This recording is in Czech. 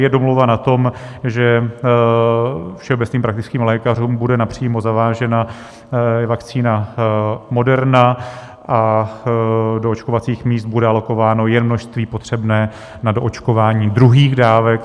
Je domluva na tom, že všeobecným praktickým lékařům bude napřímo zavážena vakcína Moderna a do očkovacích míst bude alokováno jen množství potřebné na doočkování druhých dávek.